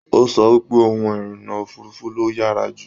O sọ wípé òhun irinna òfurùnfu ló yára jù.